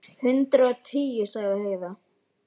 Hundrað og tíu, sagði Heiða.